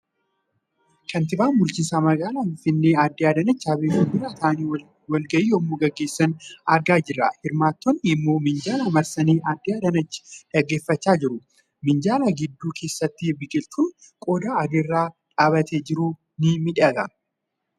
Kantiibaan bulchiinsa magaalaa Finfinnee adde Adaanach Abeebee fuuldura taa'anii walga'ii yemmuu geggeessaa jira. Hirmaattoonni immoo minjaala marsanii addame Adaanach dhaggeeffachaa jiru. Minjaalaa gidduu keessatti biqiltuun qodaa adii irra dhaabatee jiru ni miidhaga.